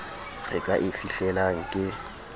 re ka e fihlelang ke